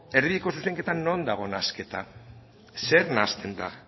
erdibideko zuzenketan non dago nahasketa zer nahasten da